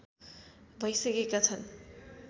भैसकेका छन्